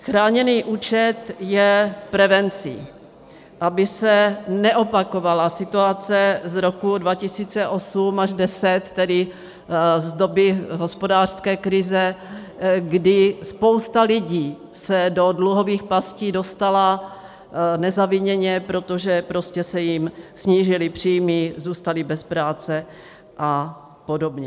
Chráněný účet je prevencí, aby se neopakovala situace z roku 2008 až 2010, tedy z doby hospodářské krize, kdy spousta lidí se do dluhových pastí dostala nezaviněně, protože prostě se jim snížily příjmy, zůstali bez práce a podobně.